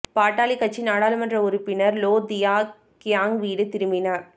பாட்டாளிக் கட்சி நாடாளுமன்ற உறுப்பினர் லோ தியா கியாங் வீடு திரும்பினார்